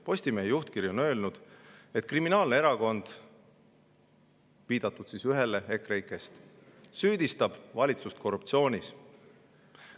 Postimehe juhtkiri on öelnud, et kriminaalne erakond – viidatud on siis ühele EKREIKE‑st – süüdistab valitsust korruptsioonis.